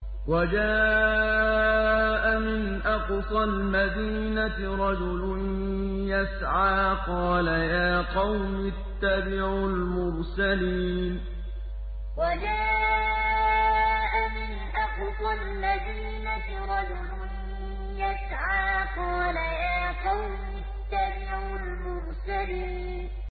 وَجَاءَ مِنْ أَقْصَى الْمَدِينَةِ رَجُلٌ يَسْعَىٰ قَالَ يَا قَوْمِ اتَّبِعُوا الْمُرْسَلِينَ وَجَاءَ مِنْ أَقْصَى الْمَدِينَةِ رَجُلٌ يَسْعَىٰ قَالَ يَا قَوْمِ اتَّبِعُوا الْمُرْسَلِينَ